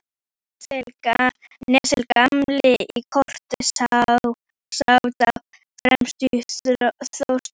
Níels gamli í Koti sat á fremstu þóftunni.